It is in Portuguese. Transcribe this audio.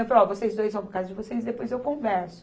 Eu falei, ó, vocês dois vão para a casa de vocês, depois eu converso.